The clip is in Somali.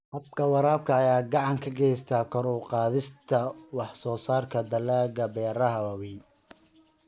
Habka waraabka ayaa gacan ka geysta kor u qaadista wax soo saarka dalagga beeraha waaweyn.